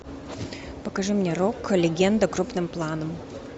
покажи мне рок легенда крупным планом